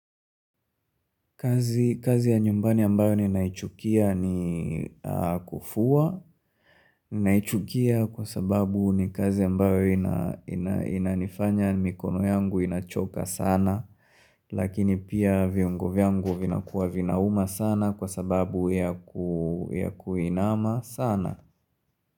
Kazi ya nyumbani ambayo ni naichukia niii ya kufua. Naichukia kwa sababu ni kazi ambayo inaa ina inanifanya mikono yangu inachoka sana. Lakini pia viungo vyangu vinakuwa vinauma sana kwasababu ya kuu ya kuinama sana.